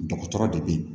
Dɔgɔtɔrɔ de bɛ yen